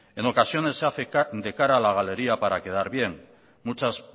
en ocasiones se hace de cara a la galería para quedar bien muchas